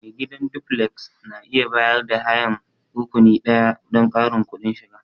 Mai gidan duflek na iya bayar da hayan rakuni ɗaya don ƙarin kudin shiga.